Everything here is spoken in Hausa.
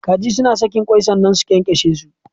Kaji Suna sakin kwai sannna su kyankyashe su.